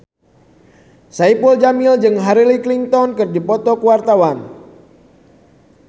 Saipul Jamil jeung Hillary Clinton keur dipoto ku wartawan